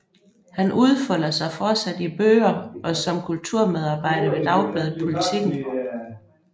Han udfolder sig fortsat i bøger og som kulturmedarbejder ved dagbladet Politiken